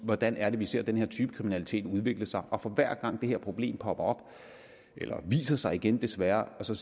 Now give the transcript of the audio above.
hvordan er det vi ser den her type kriminalitet udvikle sig og for hver gang det her problem popper op eller viser sig igen desværre så